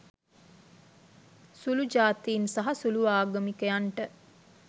සුළු ජාතීන් සහ සුළු ආගමිකයන්ට